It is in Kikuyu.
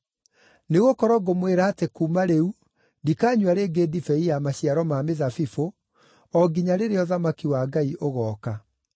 Nĩgũkorwo ngũmwĩra atĩ kuuma rĩu ndikanyua rĩngĩ ndibei ya maciaro ma mĩthabibũ, o nginya rĩrĩa ũthamaki wa Ngai ũgooka.”